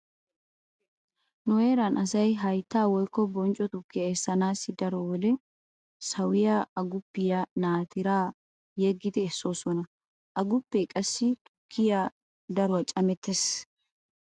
Nu heeran asay haytta woykko boncco tukkiya essanaassi daro wode sawiya aguppiya naatira yeggidi essoosona. Aguppe qassi tukkiya daruwa camettees.